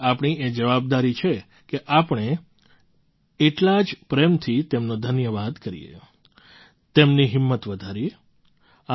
આથી આપણી એ જવાબદારી છે કે આપણે એટલા જ પ્રેમથી તેમનો ધન્યવાદ કરીએ તેમની હિંમત વધારીએ